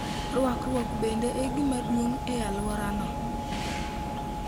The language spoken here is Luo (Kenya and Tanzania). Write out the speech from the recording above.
Rwakruok bende e gima duong' e alworano.